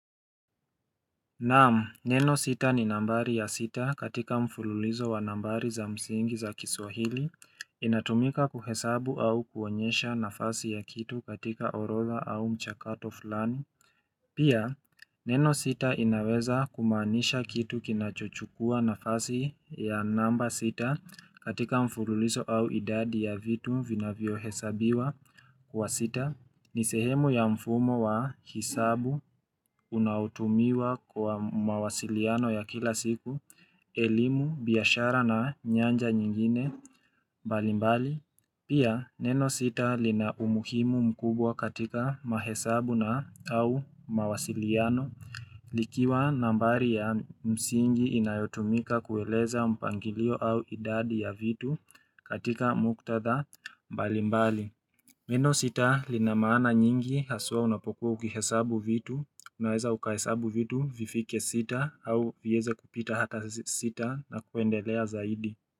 Naam, neno sita ni nambari ya sita katika mfululizo wa nambari za msingi za kiswahili, inatumika kuhesabu au kuonyesha nafasi ya kitu katika orodha au mchakato fulani. Pia, neno sita inaweza kumaanisha kitu kinachochukua nafasi ya namba sita katika mfululizo au idadi ya vitu vinavyo hesabiwa. Kwa sita, ni sehemu ya mfumo wa hesabu unaotumiwa kwa mawasiliano ya kila siku, elimu, biashara na nyanja nyingine, mbalimbali, pia neno sita lina umuhimu mkubwa katika mahesabu na au mawasiliano, likiwa nambari ya msingi inayotumika kueleza mpangilio au idadi ya vitu katika muktadha, balimbali. Neno sita lina maana nyingi, haswa unapokuwa ukihesabu vitu, unaweza ukahesabu vitu, vifike sita au vieze kupita hata sita na kuendelea zaidi.